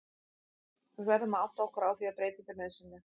Við verðum að átta okkur á því að breyting er nauðsynleg.